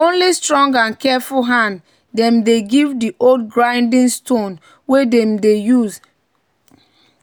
"na only strong and careful hand dem dey give di old grinding stone wey dem dey use mix animal feed."